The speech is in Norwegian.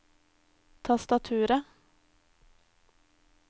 tastaturet